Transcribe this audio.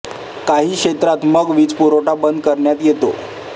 काही क्षेत्रात मग वीज पुरवठा बंद करण्यात येतो